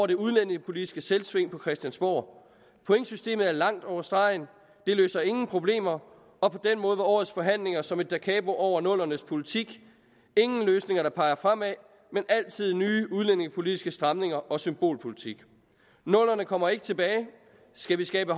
det udlændingepolitiske selvsving på christiansborg pointsystemet går langt over stregen det løser ingen problemer og på den måde var årets forhandlinger som et dacapo over nullernes politik ingen løsninger der peger fremad men altid nye udlændingepolitiske stramninger og symbolpolitik nullerne kommer ikke tilbage skal vi skabe